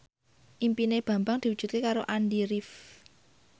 impine Bambang diwujudke karo Andy rif